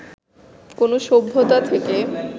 কোন সভ্যতা থেকে